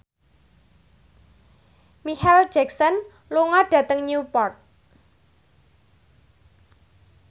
Micheal Jackson lunga dhateng Newport